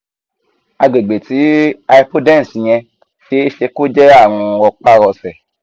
àgbègbè ti hypodense yen se e se ko je arun ropa rose